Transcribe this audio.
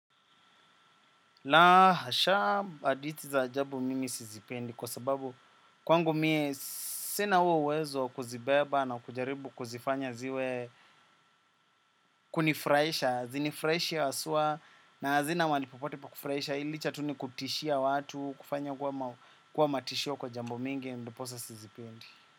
La hasha hadithi za ajabu mimi sizipendi kwa sababu kwangu mie sina huo uwezo wa kuzibeba na kujaribu kuzifanya ziwe kunifurahisha, hazinifurahishi haswa na hazina mahali popote pa kufurahisha hii licha tu ni kutishia watu, kufanya kuwa matishio kwa jambo mingi, ndiposa sizipendi.